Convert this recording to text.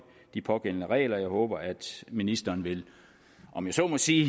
de pågældende regler jeg håber at ministeren om jeg så må sige